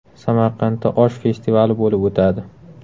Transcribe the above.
Samarqandda osh festivali bo‘lib o‘tadi.